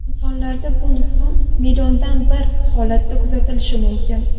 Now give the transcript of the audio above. Insonlarda bu nuqson milliondan bir holatda kuzatilishi mumkin.